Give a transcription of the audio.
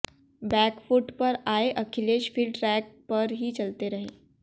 back foot पर आए अखिलेश फिर ट्रेक पर ही चलते रहे